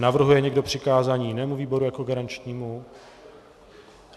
Navrhuje někdo přikázání jinému výboru jako garančnímu?